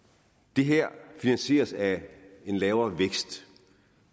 det her finansieres af en lavere vækst